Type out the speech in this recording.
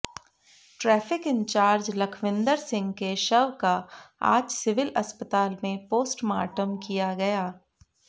traffic in-charge Lakhwinder Singh के शव का आज सिविल अस्पताल में पोस्टमार्टम किया गया